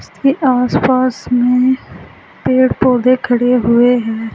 इसमें आसपास में पेड़ पौधे खड़े हुए हैं।